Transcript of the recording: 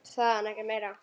Hann sagði ekki meira.